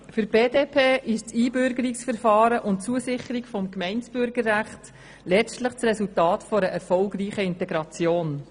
Für die BDP ist das Einbürgerungsverfahren und die Zusicherung des Gemeindebürgerrechts letztlich das Resultat einer erfolgreichen Integration.